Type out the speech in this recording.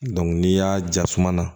n'i y'a jasuma na